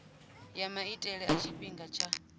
ya maitele a tshifhinga tsha